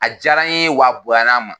A diyara n ye wa bonyana n ma